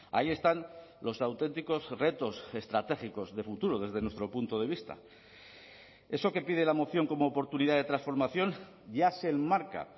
ahí están los auténticos retos estratégicos de futuro desde nuestro punto de vista eso que pide la moción como oportunidad de transformación ya se enmarca